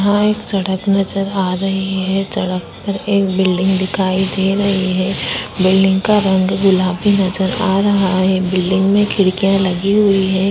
यहाँ एक सड़क नजर आ रहे है। सड़क पर एक बिल्डिंग दिखाई दे रही है। बिल्डिंग का रंग गुलाबी नजर आ रहा है। बिल्डिंग में खिड़कियां लगी हुई है।